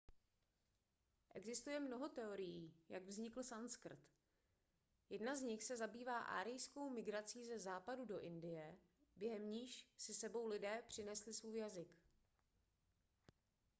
existuje mnoho teorií jak vznikl sanskrt jedna z nich se zabývá árijskou migrací ze západu do indie během níž si s sebou lidé přinesli svůj jazyk